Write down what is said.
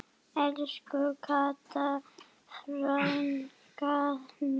Elsku Kata frænka mín.